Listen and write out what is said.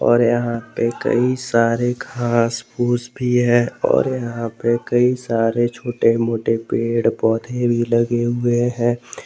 और यहां पर कई सारे घास फूस भी है और यहां पे कई सारे छोटे मोटे पेड़ पौधे भी लगे हुए हैं।